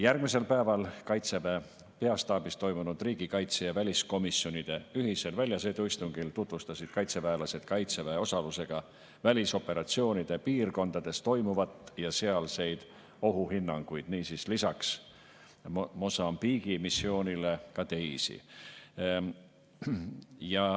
Järgmisel päeval Kaitseväe peastaabis toimunud riigikaitse‑ ja väliskomisjoni ühisel väljasõiduistungil tutvustasid kaitseväelased Kaitseväe osalusega välisoperatsioonide piirkondades toimuvat ja sealseid ohuhinnanguid, niisiis lisaks Mosambiigi missioonile ka teisi.